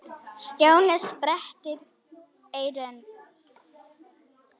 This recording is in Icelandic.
Stjáni sperrti eyrun.